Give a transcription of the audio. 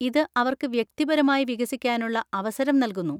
ഇത് അവർക്ക് വ്യക്തിപരമായി വികസിക്കാനുള്ള അവസരം നൽകുന്നു.